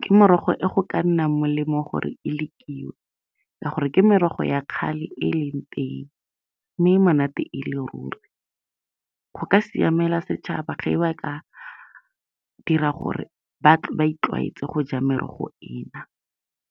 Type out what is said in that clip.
Ke morogo e go ka nnang molemo gore e lekiwe, ka gore ke merogo ya kgale e e leng teng, mme e monate e le ruri. Go ka siamela setšhaba ge ba ka dira gore ba itlwaetse go ja merogo ena.